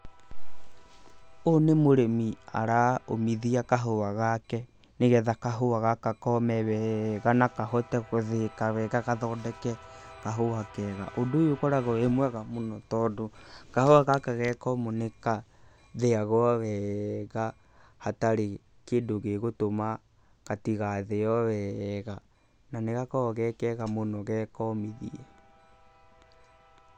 Ũyũ nĩ mũrĩmi araũmithia kahũa gake, nĩgetha kahũa gaka kome wega na kahote gũthĩĩka wega gathondeke kahũa kega. Ũndũ ũyũ ũkoragwo wĩ mwega mũno, tondũ kahũa gaka ge komũ nĩ kathĩagwo wega hatarĩ kĩndũ gĩgũtũma gatigathĩo wega, na nĩ gakoragwo ge kega mũno ge komithie.